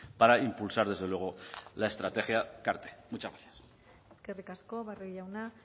para impulsar desde luego la estrategia cart muchas gracias eskerrik asko barrio jauna